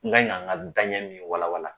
N ka k'an ka danɲɛ min walawala